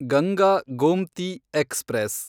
Ganga Gomti express